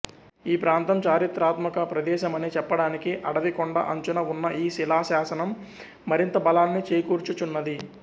ఈ ప్రాంతం చారిత్రాత్మక ప్రదేశమని చెప్పడానికి అడవి కొండ అంచున ఉన్న ఈ శిలాశాసనం మరింత బలాన్ని చేకూర్చుచున్నది